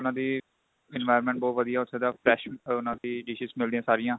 ਉਹਨਾ ਦੀ environment ਬਹੁਤ ਵਧੀਆ ਉੱਥੇ ਦਾ fresh ਉਹਨਾ ਦੀ dishes ਮਿਲਦੀਆਂ ਸਾਰੀਆਂ